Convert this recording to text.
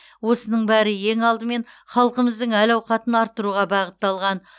осының бәрі ең алдымен халқымыздың әл ауқатын арттыруға бағытталған